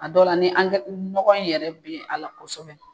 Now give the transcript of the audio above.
A dɔ la ni angɛ ɲɔgɔ in yɛrɛ be ala kosɛbɛ